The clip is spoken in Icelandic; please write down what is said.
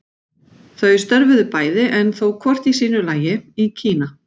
Þau störfuðu bæði, en þó hvort í sínu lagi, í Kína.